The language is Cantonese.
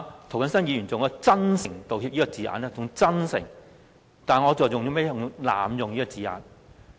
涂謹申議員以"真誠道歉"這字眼，但我卻認為這是濫用了這字眼。